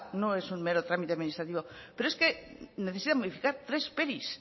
no es un mero trámite administrativo pero es que necesita modificar tres